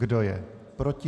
Kdo je proti?